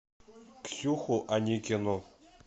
ксюху аникину